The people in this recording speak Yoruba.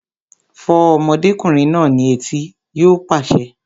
Fọ́ ọmọdékùnrin náà ní etí! Yóò pàṣẹ